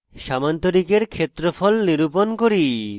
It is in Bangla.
সামান্তরিকের ক্ষেত্রফল নিরূপণ করি